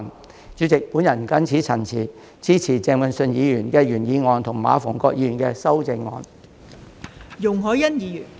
代理主席，我謹此陳辭，支持鄭泳舜議員的原議案及馬逢國議員的修正案。